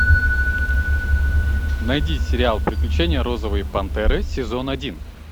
найди сериал приключения розовой пантеры сезон один